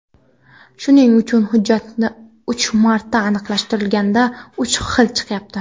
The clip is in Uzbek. Shuning uchun hujjatni uch marta aniqlashtirishganda uch xil chiqyapti.